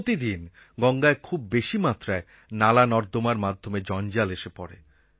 প্রতিদিন গঙ্গায় খুব বেশি মাত্রায় নালানর্দমার মাধ্যমে জঞ্জাল এসে পড়ে